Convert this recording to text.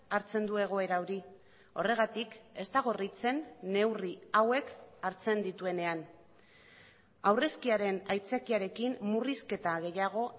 hartzen du egoera hori horregatik ez da gorritzen neurri hauek hartzen dituenean aurrezkiaren aitzakiarekin murrizketa gehiago